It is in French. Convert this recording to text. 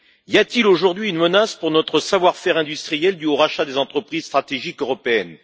Y a t il aujourd'hui une menace pour notre savoir faire industriel due au rachat des entreprises stratégiques européennes?